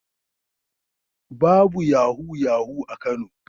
Babu yahu-yahu a Kano.